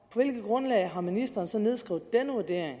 hvilket grundlag har ministeren så nedskrevet denne vurdering